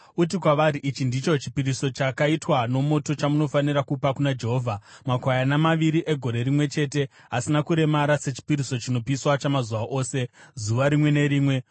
Uti kwavari: ‘Ichi ndicho chipiriso chakaitwa nomoto chamunofanira kupa kuna Jehovha: makwayana maviri egore rimwe chete asina kuremara, sechipiriso chinopiswa chamazuva ose, zuva rimwe nerimwe.